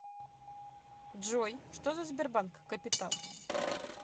джой что за сбербанк капитал